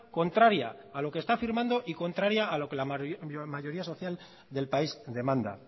contraria a lo que está firmando y contraria a lo que la mayoría social del país demanda